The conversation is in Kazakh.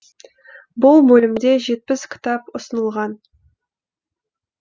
бұл бөлімде жетпіс кітап ұсынылған